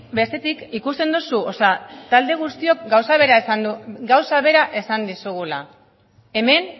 bestetik ikusten duzu talde guztiok gauza bera esan dizugula hemen